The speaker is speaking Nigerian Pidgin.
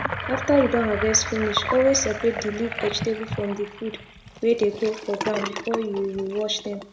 after u don harvest finish always separate d leaf vegetable from d food wey dey grow for ground before u u wash dem